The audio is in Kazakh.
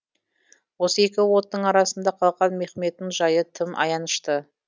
осы екі оттың арасында қалған мехмедтің жайы тым аянышты